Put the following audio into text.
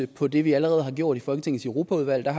på det vi allerede har gjort i folketingets europaudvalg der